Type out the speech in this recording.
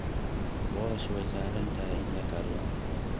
Boorash waa sahlan tahay in la kariyo.